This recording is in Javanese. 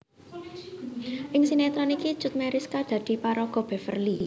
Ing sinetron iki Cut Meyriska dadi paraga Beverly